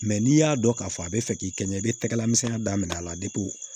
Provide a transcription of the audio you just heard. n'i y'a dɔn k'a fɔ a bɛ fɛ k'i kɛ ɲɛ i bɛ tɛgɛla misɛnya daminɛ a la